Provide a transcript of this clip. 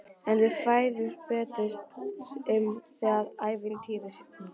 En við fræðumst betur um það ævintýri seinna.